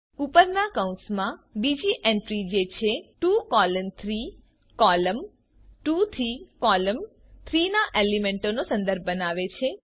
ઉપર માં કૌંસમાં બીજી એન્ટ્રી જે છે 2 કોલોન 3 કોલમ 2 થી કોલમ 3 ના એલીમેન્ટોનો સંદર્ભ બનાવે છે